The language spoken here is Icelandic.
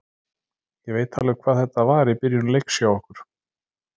Ég veit alveg hvað þetta var í byrjun leiks hjá okkur.